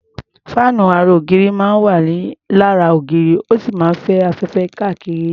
Fáànù ara ògiri máa ń wà lára ògiri, ó sì máa ń fẹ́ afẹ́fẹ́ kárí ilé.